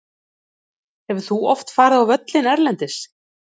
Hefur þú oft farið á völlinn erlendis?